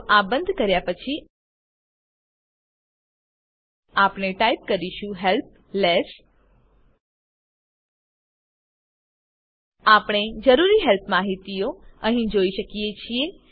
તો આ બંધ કર્યા પછી આપણે ટાઇપ કરીશું હેલ્પ લેસ આપણે જરૂરી હેલ્પ માહિતીઓ અહીં જોઈ શકીએ છીએ